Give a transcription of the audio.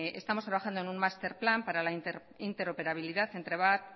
que estamos trabajando en un master plan para la interoperabilidad entre